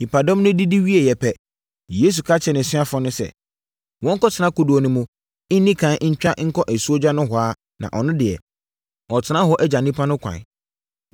Nnipadɔm no didi wieeɛ pɛ, Yesu ka kyerɛɛ nʼasuafoɔ no sɛ, wɔntena kodoɔ no mu nni ɛkan ntwa nkɔ asuogya nohoa na ɔno deɛ, ɔretena hɔ agya nnipa no kwan.